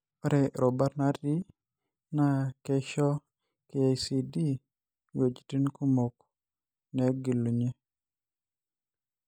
Ore rubat naati naa keisho KICD nwejitin kumok neegelunye.